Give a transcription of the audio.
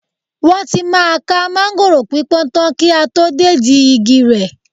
Wọ́n tí máa ká máńgòrò pípọ́n tán kí a tó dédìí igi tẹ̀